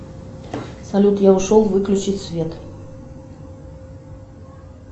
салют я ушел выключить свет